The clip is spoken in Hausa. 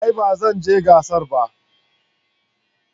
A'a ba zan je gasar ba.